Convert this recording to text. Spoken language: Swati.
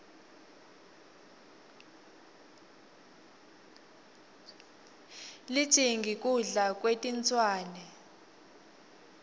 lijingi kudla kwetinswane